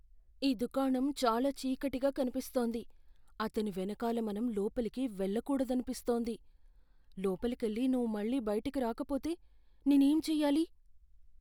ఈ దుకాణం చాలా చీకటిగా కనిపిస్తోంది. అతని వెనకాల మనం లోపలికి వెళ్లకూడదనిపిస్తోంది. లోపలికెళ్లి నువ్వు మళ్ళీ బయటకి రాకపోతే నేనేం చెయ్యాలి?